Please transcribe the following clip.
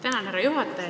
Tänan, härra juhataja!